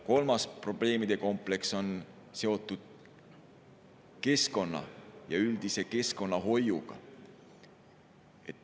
Kolmas probleemide kompleks on seotud keskkonnaga, üldise keskkonnahoiuga.